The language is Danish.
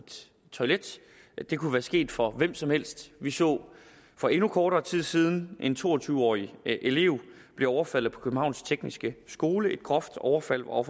toilet det kunne være sket for hvem som helst vi så for endnu kortere tid siden en to og tyve årig elev blive overfaldet på københavns tekniske skole et groft overfald hvor